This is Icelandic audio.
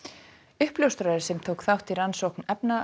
uppljóstrari sem tók þátt í rannsókn